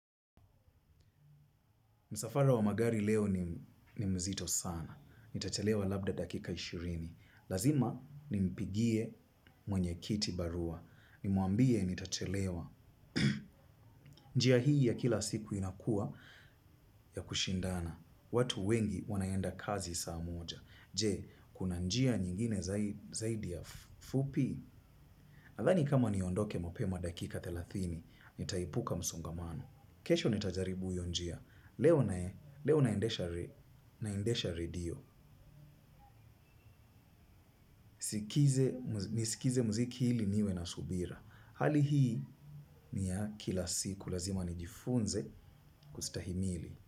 Msafara wa magari leo ni mzito sana. Nitachelewa labda dakika ishirini. Lazima nimpigie mwenye kiti barua. Nimwambie nitachelewa. Njia hii ya kila siku inakuwa ya kushindana. Watu wengi wanaenda kazi saa moja. Je, kuna njia nyingine zaidi ya fupi? Nadhani kama niondoke mapema dakika thelathini, nitaepuka msongamano. Kesho nitajaribu hiyo njia. Leo nae, leo naendesha radio, nisikize muziki ili niwe na subira. Hali hii ni ya kila siku, lazima nijifunze kustahimili.